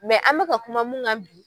an mɛka kuma mun kan bi.